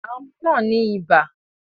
Àwọn ọmọ náà ní ibà